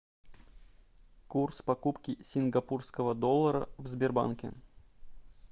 курс покупки сингапурского доллара в сбербанке